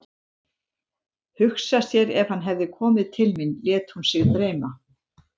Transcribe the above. Hugsa sér ef hann hefði komið til mín, lét hún sig dreyma.